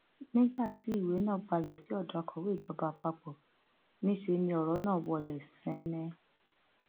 nígbà tí ìwé náà balẹ sí odò akọwé ìjọba àpapọ níṣẹ lọrọ nà wọlé sẹnẹn